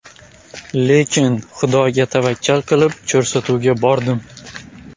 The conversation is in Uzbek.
Lekin Xudoga tavakkal qilib, ko‘rsatuvga bordim.